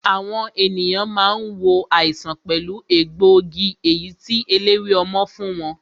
Àwọn ènìyàn máa ń wo àìsàn pẹ̀lú egbòogi èyí tí eléwé ọmọ fún wọn